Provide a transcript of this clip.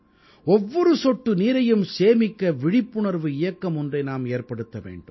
ஒவ்வொரு சொட்டு நீரையும் சேமிக்க விழிப்புணர்வு இயக்கம் ஒன்றை நாம் ஏற்படுத்த வேண்டும்